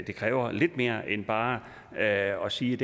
det kræver lidt mere end bare her at sige